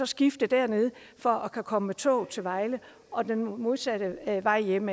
skifte dernede for at kunne komme med toget til vejle og den modsatte vej hjem